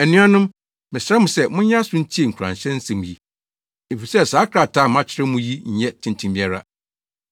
Anuanom, mesrɛ mo sɛ monyɛ aso ntie nkuranhyɛ nsɛm yi, efisɛ saa krataa a makyerɛw mo yi nyɛ tenten biara.